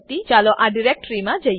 ચાલો આ ડીરેક્ટરીમાં જઈએ